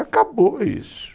Acabou isso.